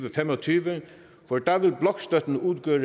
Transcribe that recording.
og fem og tyve for da vil blokstøtten udgøre